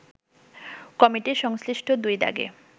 committee সংশ্লিষ্ট দুই দাগে